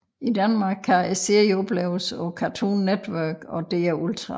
I Danmark kan serien opleves på Cartoon Network og DR Ultra